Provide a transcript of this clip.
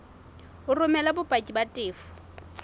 o romele bopaki ba tefo